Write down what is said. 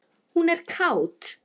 Hún er kát.